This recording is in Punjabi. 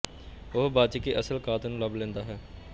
ਉਹ ਬਚ ਕੇ ਅਸਲ ਕਾਤਲ ਨੂੰ ਲੱਭ ਲੈਂਦਾ ਹੈ